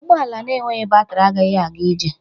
Ụgbọ ala na-enweghị batri agaghị aga ije